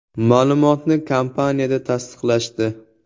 Ma’lumotni kompaniyada tasdiqlashdi.